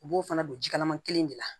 U b'o fana don jikalaman kelen de la